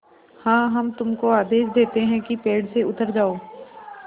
हाँ हम तुमको आदेश देते हैं कि पेड़ से उतर जाओ